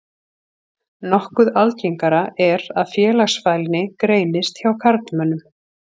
Nokkuð algengara er að félagsfælni greinist hjá karlmönnum.